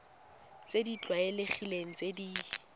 tse di tlwaelegileng tse di